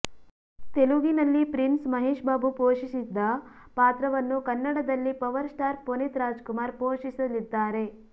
ತೆಲುಗಿನಲ್ಲಿ ಪ್ರಿನ್ಸ್ ಮಹೇಶ್ ಬಾಬು ಪೋಷಿಸಿದ್ದ ಪಾತ್ರವನ್ನು ಕನ್ನಡದಲ್ಲಿ ಪವರ್ ಸ್ಟಾರ್ ಪುನೀತ್ ರಾಜ್ ಕುಮಾರ್ ಪೋಷಿಸಲಿದ್ದಾರೆ